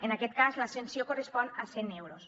en aquest cas la sanció correspon a cent euros